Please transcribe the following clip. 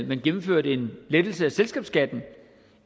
man gennemførte en lettelse af selskabsskatten